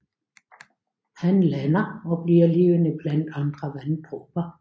Han lander og bliver levende blandt andre vanddråber